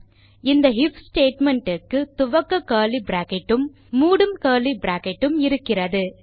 இந்த if statement க்கு துவக்க கர்லி பிராக்கெட் உம் மூடும் கர்லி பிராக்கெட் உம் இருக்கிறது